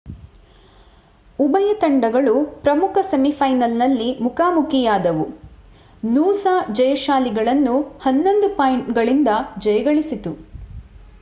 ಉಭಯ ತಂಡಗಳು ಪ್ರಮುಖ ಸೆಮಿಫೈನಲ್‌ನಲ್ಲಿ ಮುಖಾಮುಖಿಯಾದವು ನೂಸಾ ಜಯಶಾಲಿಗಳನ್ನು11 ಪಾಯಿಂಟ್‌ಗಳಿಂದ ಜಯಗಳಿಸಿತು